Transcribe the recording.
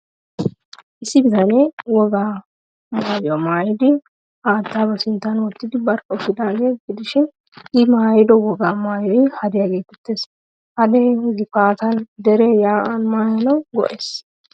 Issi bitanee wogaa maayuwaa maayidi, haattaa ba sinttan wottidi barkka uttidaagaa gidishin,I maayido wogaa maayoy hadiyaa geeteettees. Hadee GIfaatan, dere yaa'an maayanawu go'ees.